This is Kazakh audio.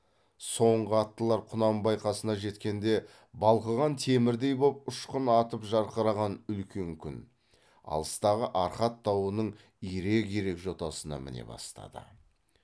соңғы аттылар құнанбай қасына жеткенде балқыған темірдей боп ұшқын атып жарқыраған үлкен күн алыстағы арқат тауының ирек ирек жотасына міне бастады